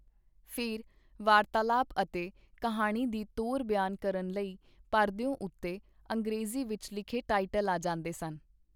ਫੇਰ, ਵਾਰਤਾਲਾਪ ਅਤੇ ਕਿਹਾਣੀ ਦੀ ਤੋਰ ਬਿਆਨ ਕਰਨ ਲਈ ਪਰਦਿਓ ਉਤੇ ਅੰਗਰੇਜ਼ੀ ਵਿਚ ਲਿਖੇ ਟਾਈਟਲ ਆ ਜਾਂਦੇ ਸਨ.